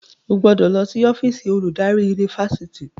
o gbọdọ ló sì ọ́fíìsì oludari Yunifásitìni.